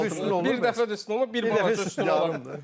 Bir dəfə üstün olmur, bir dəfə də üstün olmur, bir balaca üstün.